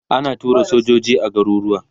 ana tura sojoji garuruwa